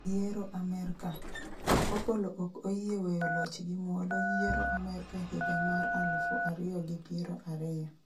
yiero Amerka : Opollo ok oyie weyo loch gi muolo yiero Amerka higa mar alufu ariyo gi piero ariyo